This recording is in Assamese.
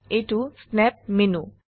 এইটো স্নেপ মেনু